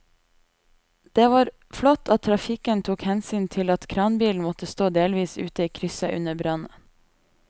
Det var flott at trafikken tok hensyn til at kranbilen måtte stå delvis ute i krysset under brannen.